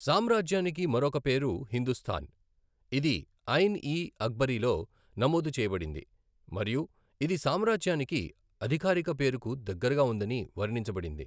సామ్రాజ్యానికి మరొక పేరు హిందూస్తాన్, ఇది ఐన్ ఇ అక్బరిలో నమోదు చేయబడింది, మరియు ఇది సామ్రాజ్యానికి అధికారిక పేరుకు దగ్గరగా ఉందని వర్ణించబడింది.